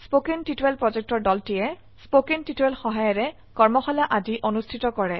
কথন শিক্ষণ প্ৰকল্পৰ দলটিয়ে কথন শিক্ষণ সহায়িকাৰে কৰ্মশালা আদি অনুষ্ঠিত কৰে